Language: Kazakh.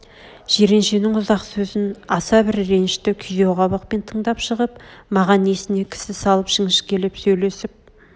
жиреншенің ұзақ сөзін аса бір реншті күйзеу қабақпен тыңдап шығып маған несне кісі салып жіңішкелеп сөйлесіп